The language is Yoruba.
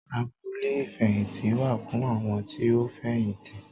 Abúlé ìfẹ̀yìntì wáà fún àwọn tí ó fẹ̀yìntì